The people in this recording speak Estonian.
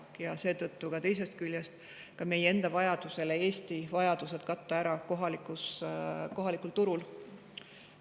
Teisest küljest ka meie enda katta Eesti vajadused ära kohaliku turu abil.